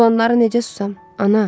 Olanlara necə susam, ana?